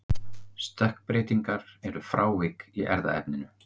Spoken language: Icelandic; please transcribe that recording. Stökkbreytingar eru frávik í erfðaefninu.